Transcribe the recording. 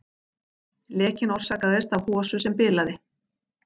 Lekinn orsakaðist af hosu sem bilaði